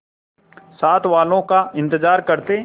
साथ वालों का इंतजार करते